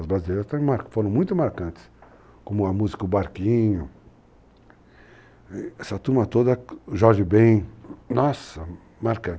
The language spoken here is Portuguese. As brasileiras foram muito marcantes, como a música O Barquinho, essa turma toda, o Jorge Bem, nossa, marcantes, marcantes.